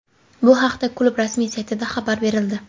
Bu haqda klub rasmiy saytida xabar berildi .